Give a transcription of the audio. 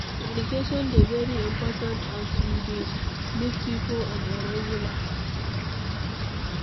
Communication dey very important as we dey meet pipo on a regular